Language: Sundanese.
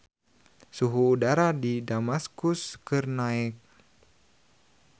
Suhu udara di Damaskus keur naek